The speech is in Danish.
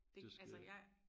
Det altså jeg